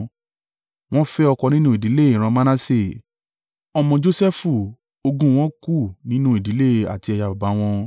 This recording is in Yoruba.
Wọ́n fẹ́ ọkọ nínú ìdílé ìran Manase, ọmọ Josẹfu ogún wọn kù nínú ìdílé àti ẹ̀yà baba wọn.